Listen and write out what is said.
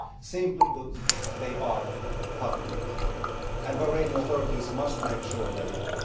Simply put, they are repugnant, and the Bahraini authorities must make sure they end.